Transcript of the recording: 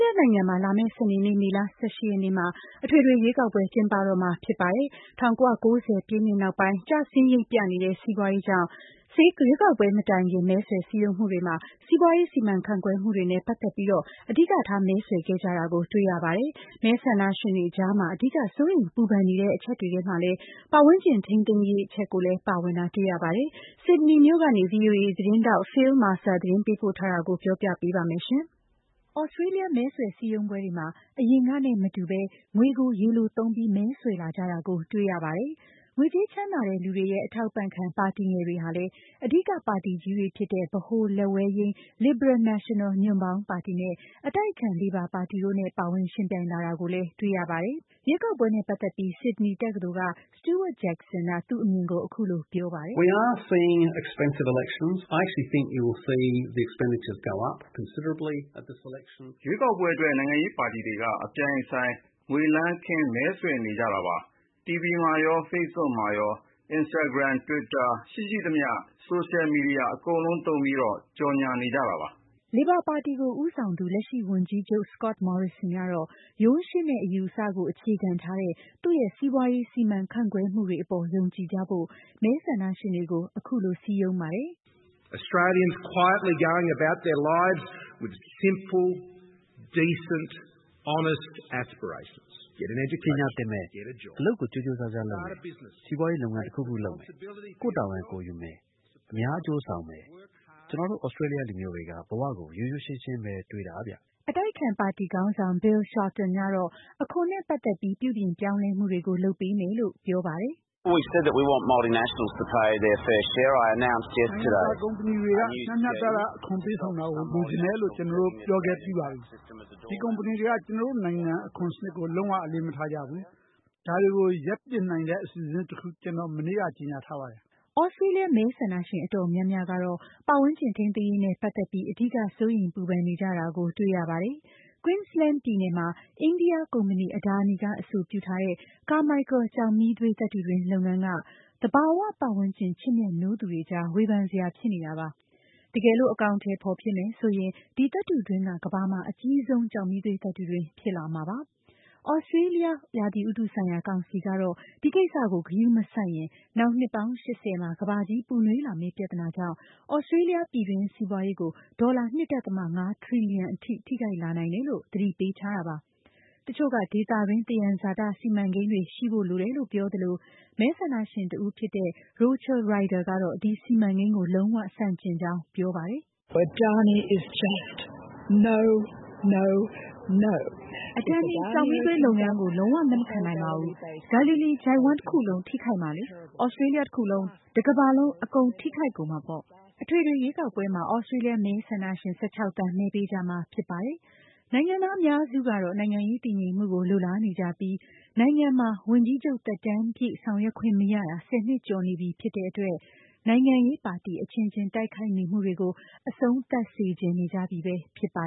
လျနိုင်ငံမှာ လာမယ့် စနေနေ့ မေလ ၁၈ ရက်နေ့ မှာ အထွေထွေရွေးကောက်ပွဲ ကျင်းပတော့မှာ ဖြစ်ပါတယ်။ ၁၉၉၀ ပြည့်နှစ် နောက်ပိုင်း ကျဆင်းရိပ်ပြနေတဲ့ စီးပွါးရေးကြောင့် ရွေးကောက်ပွဲ မတိုင်မီ မဲဆွယ်စည်းရုံးမှုတွေမှာ စီးပွါးရေး စီမံခန့်ခွဲမှု တွေနဲ့ ပတ်သက်ပြီး အဓိကထား မဲဆွယ်ခဲ့ကြတာကို တွေ့ရပါတယ်။ ရွေးကောက်ပွဲ နီးလာတာနဲ့အမျှ မဲဆန္ဒရှင်တွေကြား အဓိက စိုးရိမ်ပူပန်နေ ကြ တဲ့အချက်တွေထဲ ပတ်ဝန်းကျင် ထိမ်းသိမ်းရေးလည်း ပါဝင်နေတာကို တွေ့ရပါတယ်။ Sydney မြို့ကနေ VOA သတင်းထောက် Phil Mercer သတင်းပေးပို့ထားတာကို မမြသဇင်အောင် ကပြောပြပေးပါမယ်။ သြစတေးလျ မဲဆွယ်စည်းရုံးပွဲတွေမှာ အရင်ကနဲ့ မတူ ငွေကို ရေလိုသုံးပြီး မဲဆွယ်လာကြတာကို တွေ့ရပါတယ်။ ငွေကြေးချမ်းသာတဲ့ လူတွေရဲ့အထောက်အပံ့ခံ ပါတီငယ်တွေ ဟာလည်း အဓိက ပါတီကြီးတွေဖြစ်တဲ့ ဗဟိုလက်ယာယိမ်း Liberal-National ညွန့်ပေါင်း ပါတီနဲ့အတိုက်အခံ Labor ပါတီတို့နဲ့ ပါဝင်ယှဉ်ပြိုင်လာကြတာကိုလည်း တွေ့ရပါတယ်။ ရွေးကောက်ပွဲနဲ့ပတ်သက်ပြီး Sydney တက္ကသိုလ်ကStewart Jackson က သူ့အမြင်ကို အခုလို ပြောပါတယ်။ “ ရွေးကောက်ပွဲ အတွက် နိုင်ငံရေး ပါတီတွေက အပြိုင်အဆိုင် ငွေလမ်းခင်း မဲဆွယ်နေကြတာဗျ။ TV မှာရော Facebook မှာရော၊ Instagram နဲ့ Twitter ရော ရှိရှိသမျှ ဆိုရှယ်မီဒီယာ အကုန်သုံးပြီး ကြော်ငြာကြတာ။” Liberal Party ပါတီ ကိုဦးဆောင်သူ လက်ရှိဝန်ကြီးချုပ် Scott Morrison ကတော့ ရိုးရှင်းတဲ့ အယူအဆကို အခြေခံထားတဲ့ သူ့ရဲ့ စီးပွါးရေး စီမံခန့်ခွဲမှုတွေ အပေါ် ယုံကြည်ကြဖို့ မဲဆန္ဒရှင်တွေကို အခုလို စည်းရုံးပါတယ်။ “ ပညာသင်မယ်။ အလုပ်ကို ကြိုးကြိုးစားစားလုပ်မယ်။ စီးပွါးရေး လုပ်ငန်းတခုခုလုပ်မယ်။ ကိုယ့်တာဝန် ကိုယ်ယူမယ်။ အများ အကျိုးဆောင်မယ်။ ကျွန်တော်တို့ သြစတေးလျ လူမျိုးတွေက ဘဝကို ရိုးရိုး ရှင်းရှင်းပဲတွေးတာဗျ။” အတိုက်အခံ ပါတီ ခေါင်းဆောင် Bill Shorten ကတော့ အခွန် နဲ့ ပတ်သက်ပြီး ပြုပြင်ပြောင်းလဲမှု တွေကို လုပ်ပေးမယ်လို့ ဆိုပါတယ်။ “ နိုင်ငံတကာ ကုမ္မဏီတွေက မျှမျှတတ အခွန်ပေးဆောင်တာကို လိုချင်တယ်လို့ ကျွန်တော်တို့ ပြောခဲ့ပြီးပါပြီ။ ဒီ ကုမ္မဏီတွေက ကျွန်တော်တို့ နိုင်ငံ အခွန်စနစ်ကို လုံး၀ အလေးမထားကြဘူး။ ဒါတွေ ကို ရပ်ပစ်နိုင်တဲ့ အစီအစဉ်သစ် တခု ကျွန်တော်မနေ့က ကြေညာထားပါတယ်။ ” သြစတေးလျ မဲဆန္ဒရှင် အတော်များများကတော့ ပတ်ဝန်းကျင် ထိန်းသိမ်းရေးနဲ့ ပတ်သက်ပြီး အဓိက စိုးရိမ်ပူပန်နေကြတာကို တွေ့ရပါတယ်။ Queensland ပြည်နယ်မှာ အိန္ဒိယ ကုမ္မဏီ Adani က အဆိုပြုထားတဲ့ Carmichael ကျောက်မီးသွေး သတ္တုတွင်း လုပ်ငန်း က သဘာ၀၀န်းကျင် ချစ်မြတ်နိုးသူတွေကြား ဝေဖန်စရာ ဖြစ်နေတာပါ။ တကယ်လို့ အကောင်အထည် ဖော်ဖြစ်ရင် ဒီ သတ္တုတွင်းက ကမ္ဘာမှာ အကြီးဆုံး ကျောက်မီးသွေး သတ္တုတွင်း ဖြစ်လာမှာပါ။ သြစတေးလျ ရာသီဥတုဆိုင်ရာ ကောင်စီကတော့ ဒီကိစ္စကို ဂရုမစိုက်ရင် နောင် နှစ်ပေါင်း ၈၀ မှာ ကမ္ဘာကြီးပူနွေးလာမယ့် ပြဿနာကြောင့် သြစတေးလျ ပြည်တွင်းစီးပွါးရေးကို ဒေါ်လာ ၂.၅ ထရီလီယံထိ ထိခိုက်လာနိုင်တယ်လို့သတိပေးထားတာပါ။ တချို့ က ဒေသတွင်း သယံဇာတ စီမံကိန်းတွေ ရှိဖို့လိုတယ်လို့ ပြောသလို မဲဆန္ဒရှင်တဦးဖြစ်တဲ့ Rochelle Rodier ကတော့ ဒီစီမံကိန်းကို လုံး၀ ဆန့်ကျင်ကြောင်း ပြောပါတယ်။ “ Adani ကျောက်မီးသွေး လုပ်ငန်းကို လုံးဝလက်မခံနိုင်ပါဘူး။ Galilee ချိုင့်ဝှမ်း တခုလုံးထိခိုက်မှာလေ။ သြစတေးလျ တခုလုံး၊ တကမ္ဘာလုံး အကုန်ထိခိုက်ကုန်မှာပေါ့။” အထွေထွေ ရွေးကောက်ပွဲမှာ သြစတေးလျ မဲဆန္ဒရှင် ၁၆ သန်း မဲပေးကြမှာ ဖြစ်ပါတယ်။ နိုင်ငံသား အများစုကတော့ နိုင်ငံရေးတည်ငြိမ်မှုကို လိုလားနေကြပြီး နိုင်ငံမှာ ဝန်ကြီးချုပ် သက်တမ်းပြည့် ဆောင်ရွက်ခွင့် မရတာ ၁၀ နှစ်ကျော် ရှိနေပြီဖြစ်တဲ့ အတွက် နိုင်ငံရေးပါတီ အချင်းချင်း တိုက်ခိုက်နေမှုတွေကို အဆုံးသတ်စေချင်နေကြပြီ ဖြစ်ပါ